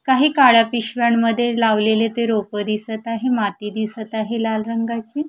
काही काळा पिशव्यांमध्ये लावलेले ते रोपं दिसत आहे माती दिसत आहे लाल रंगाची.